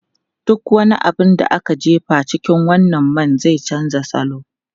Duk wani abu da aka jefa a cikin wannan man zai canza salo.